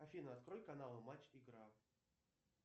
афина открой каналы матч игра